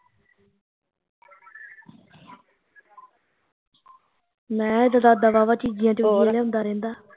ਮੈਂ ਏਹਦਾ ਦਾਦਾ ਵਾਵਾਂ ਚੀਜ਼ੀਆ ਚਉਜ਼ੀਆ ਲਿਆਉਂਦਾ ਰਹਿੰਦਾ